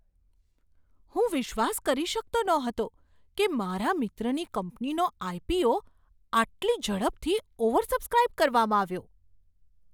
હું વિશ્વાસ કરી શકતો ન હતો કે મારા મિત્રની કંપનીનો આઇ.પી.ઓ. આટલી ઝડપથી ઓવરસબ્સ્ક્રાઇબ કરવામાં આવ્યો.